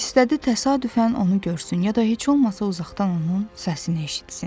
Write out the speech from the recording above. İstədi təsadüfən onu görsün, ya da heç olmasa uzaqdan onun səsini eşitsin.